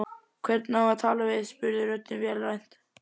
Hvern á að tala við? spurði röddin vélrænt.